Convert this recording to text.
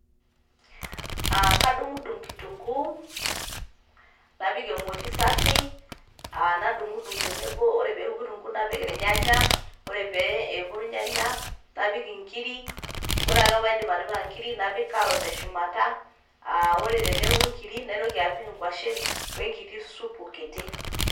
aa kaedung dung kitungu napik emoti safi, aah nadung dung tenebo ore pee eku kitungu napik ilanyanya, ore pekuu ilanyanya naotoki apik ingiri ore ake paidip atipika ingiri napik carrot teshumata, aa ore teneku inkiri naitoki apik ingwashen wenkiti supu kiti.